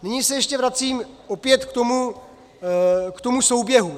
Nyní se ještě vracím opět k tomu souběhu.